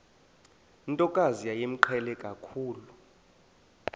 ntokazi yayimqhele kakhulu